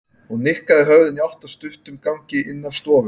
Hún nikkaði höfðinu í átt að stuttum gangi inn af stofunni.